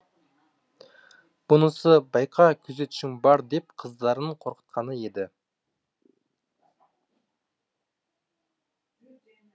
бұнысы байқа күзетшің бар деп қыздарын қорқытқаны еді